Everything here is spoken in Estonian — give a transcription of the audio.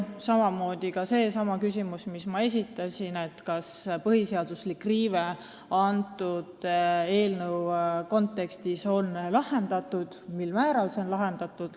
Üks neist on ka seesama, mille ma esitasin – kas põhiseaduslik riive on selle eelnõu kontekstis lahendatud ja mil määral see on lahendatud.